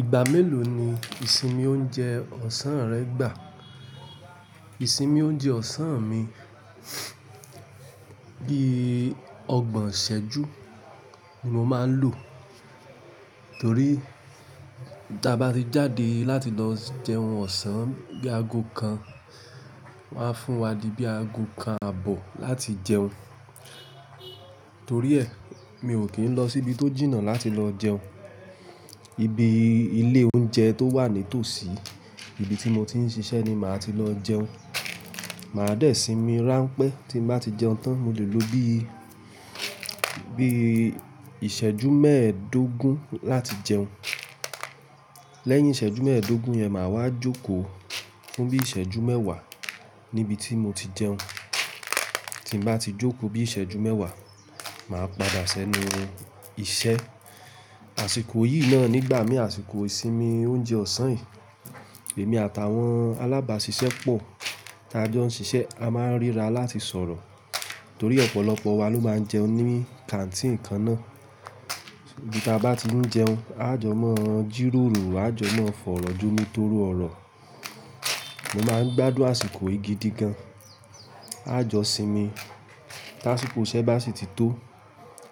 Ìgbà mélòó ni ìsinmi oúnjẹ ọ̀sán rẹ gbà? Ìsinmi oúnjẹ ọ̀sán mi bí ọgbọ̀n ìṣẹ́jú ni mo máa ń lò. Torí ta bá ti jáde láti lọ jẹun ọ̀sán bí aago kan, wọ́n á fún wa di bí aago kan àbọ̀ láti jẹun. Torí ẹ, mi ò kí ń lọ síbi tó jìnnà láti lọ jẹun. Ibi ilé oúnjẹ tó wà nítòsí ibi tí mo ti ń ṣiṣẹ́ ni màá ti lọ jẹun. Màá dé sinmi ránpẹ́ tí ń bá ti jẹun tán. Mo lè lo bí, bí ìṣẹ́jú mẹ́ẹ̀ẹ́dógún láti jẹun. Lẹ́yìn ìṣẹ́jú mẹ́ẹ̀ẹ́dógún yẹn, màá wá jókòó fún bí ìṣẹ́jú mẹ́wàá níbi tí mo ti jẹun. Tí ń bá ti jókòó bí ìṣẹ́jú mẹ́wàá, màá padà sẹ́nu iṣẹ́. Àsìkò yìí náà nígbà mí, àsìkò ìsinmi oúnjẹ ọ̀sán yìí, èmi àtàwọn alábàáṣiṣẹ́ pọ̀ tí a jọ ń ṣiṣẹ́, a máa ń ríra láti sọ̀rọ̀. Torí ọ̀pọ̀lọpọ̀ wa ló máa ń jẹun ní kàńtìnì kan náà. Bí ta bá ti ń jẹun, a jọ máa jíròrò, a jọ máa fọ̀rọ̀ jomi tóró ọ̀rọ̀. Mo máa ń gbádùn àsìkò yìí gidi gan. A jọ sinmi. Táàsìkò iṣẹ́ bá sì ti tó,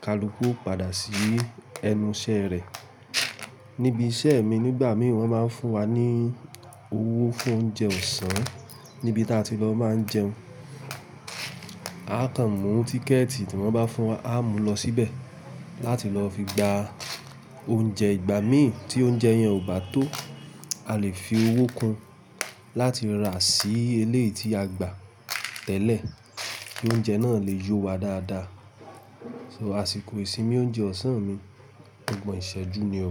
kalukú ó padà sí ẹnu iṣẹ́ rẹ̀. Níbi iṣẹ́ mi nígbà mí wọ́n máa ń fún wa ní owó fún oúnjẹ ọ̀sán níbi táa ti lọ máa ń jẹun. A kàn mú tíkẹ̀ẹ̀tì tí wọ́n bá fún wa, a mú lọ síbẹ̀ láti lọ fi gba oúnjẹ. Ìgbà mí tí oúnjẹ yẹn ò bá tó, a lè fi owó kun láti rà sí eleyi tí a gbà tẹ́lẹ̀ kí oúnjẹ náà lè yó wa dáadáa. So àsìkò ìsinmi oúnjẹ ọ̀sán mi ogbọ̀ǹ ìṣẹ́jú ni o.